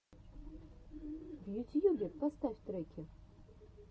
в ютьюбе поставь треки